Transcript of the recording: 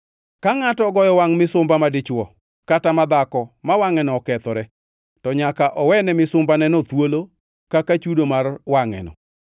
“Ka ngʼato ogoyo wangʼ misumba madichwo kata madhako ma wangʼeno okethore, to nyaka owene misumbaneno thuolo kaka chudo mar wangʼeno.